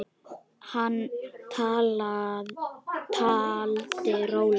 Hann taldi rólega